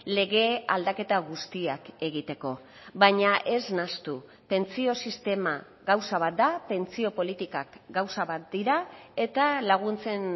lege aldaketa guztiak egiteko baina ez nahastu pentsio sistema gauza bat da pentsio politikak gauza bat dira eta laguntzen